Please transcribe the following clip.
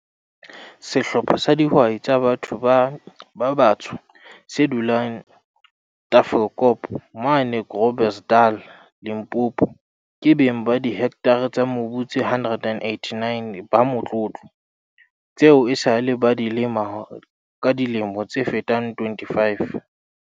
Sehlopha sa di hwai tsa batho ba batsho se dulang Tafelkop, mane Gro blersdal, Limpopo, ke beng ba dihektare tsa mobu tse 189 ba motlo tlo, tseo esale ba ntse ba di lema ka dilemo tse fetang 25.